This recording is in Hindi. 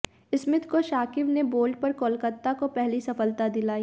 स्मिथ को शाकिब ने बोल्ड पर कोलकाता को पहली सफलता दिलाई